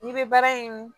N'i bɛ baara in